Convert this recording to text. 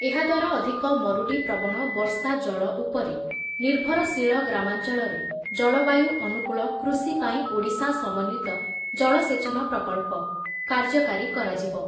ଏହାଦ୍ଵାରା ଅଧିକ ମରୁଡ଼ି ପ୍ରବଣ ବର୍ଷା ଜଳ ଉପରେ ନିର୍ଭରଶୀଳ ଗ୍ରାମାଞ୍ଚଳରେ ‘ଜଳବାୟୁ ଅନୁକୂଳ କୃଷି ପାଇଁ ଓଡ଼ିଶା ସମନ୍ବିତ ଜଳସେଚନ ପ୍ରକଳ୍ପ କାର୍ଯ୍ୟକାରୀ କରାଯିବ।